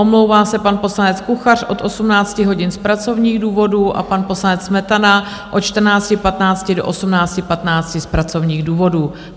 Omlouvá se pan poslanec Kuchař od 18 hodin z pracovních důvodů a pan poslanec Smetana od 14.15 do 18.15 z pracovních důvodů.